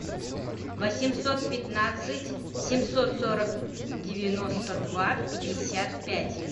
восемьсот пятнадцать семьсот сорок девяносто два пятьдесят пять